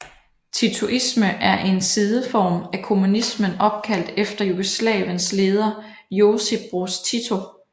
Titoisme er en sideform af kommunismen opkaldt efter Jugoslaviens leder Josip Broz Tito